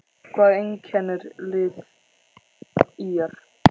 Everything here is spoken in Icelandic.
Hvað einkennir lið ÍR?